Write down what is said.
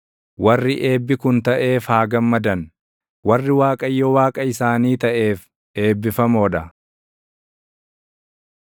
Warri eebbi kun taʼeef haa gammadan; warri Waaqayyo Waaqa isaanii taʼeef eebbifamoo dha.